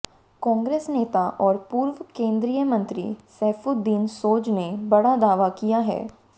कांग्रेस नेता और पूर्व केंद्रीय मंत्री सैफुद्दीन सोज ने बड़ा दावा किया है